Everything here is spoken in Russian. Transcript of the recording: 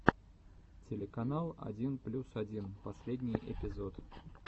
телеканал один плюс один последний эпизод